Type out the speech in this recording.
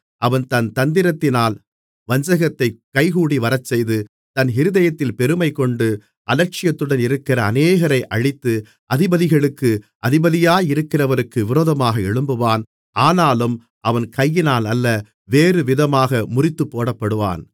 அவன் தன் தந்திரத்தினால் வஞ்சகத்தைக் கைகூடிவரச்செய்து தன் இருதயத்தில் பெருமைகொண்டு அலட்சியத்துடன் இருக்கிற அநேகரை அழித்து அதிபதிகளுக்கு அதிபதியாயிருக்கிறவருக்கு விரோதமாக எழும்புவான் ஆனாலும் அவன் கையினாலல்ல வேறுவிதமாக முறித்துப்போடப்படுவான்